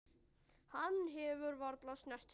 Hann hefur varla snert þig.